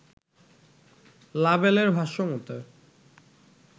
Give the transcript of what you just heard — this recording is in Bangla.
লাবেলের ভাষ্য মতে